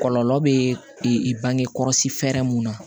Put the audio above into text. Kɔlɔlɔ bɛ bange kɔlɔsi fɛɛrɛ mun na